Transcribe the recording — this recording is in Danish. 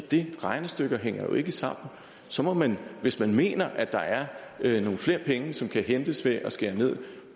det regnestykke hænger jo ikke sammen så må man hvis man mener at der er nogle flere penge som kan hentes ved at skære ned